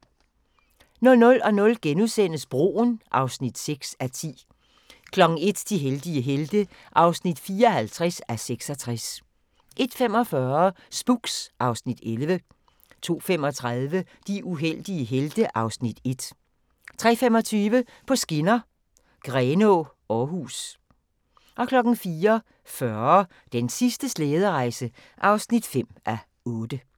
00:00: Broen (6:10)* 01:00: De heldige helte (54:66) 01:45: Spooks (Afs. 11) 02:35: De uheldige helte (Afs. 1) 03:25: På skinner: Grenaa – Aarhus 04:40: Den sidste slæderejse (5:8)